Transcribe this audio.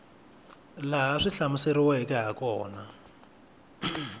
laha swi hlamuseriweke hi kona